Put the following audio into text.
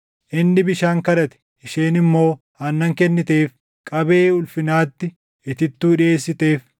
Inni bishaan kadhate; isheen immoo aannan kenniteef; qabee ulfinaatti itittuu dhiʼeessiteef.